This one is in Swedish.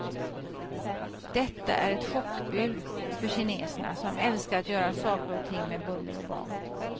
Detta är ett chockbud för kineserna, som älskar att göra saker och ting med buller och bång.